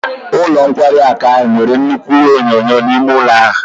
Ụlọ nkwari akụ ahụ nwere nnukwu ihé onyoonyo n'ime ụlọ ahụ